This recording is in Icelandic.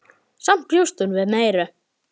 Samt bjóst hún við meiru.